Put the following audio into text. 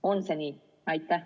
On see nii?